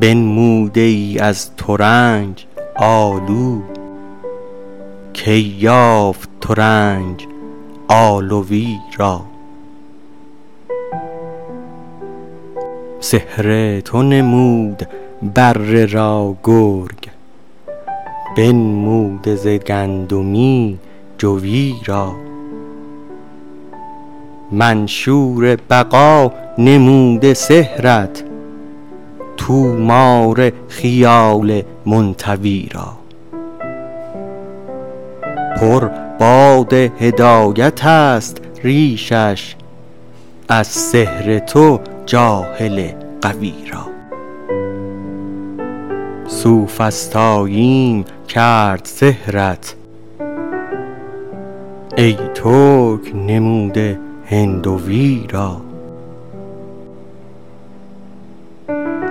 بنموده ای از ترنج آلو کی یافت ترنج آلوی را سحر تو نمود بره را گرگ بنموده ز گندمی جوی را منشور بقا نموده سحرت طومار خیال منطوی را پر باد هدایتست ریشش از سحر تو جاهل غوی را سوفسطاییم کرد سحرت ای ترک نموده هندوی را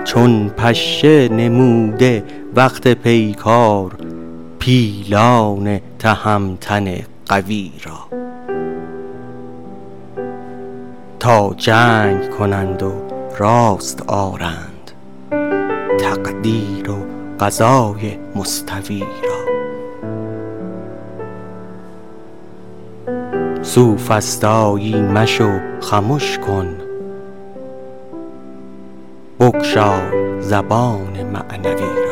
چون پشه نموده وقت پیکار پیلان تهمتن قوی را تا جنگ کنند و راست آرند تقدیر و قضای مستوی را سوفسطایی مشو خمش کن بگشای زبان معنوی را